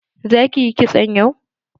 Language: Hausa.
Za ki yi kitso yau?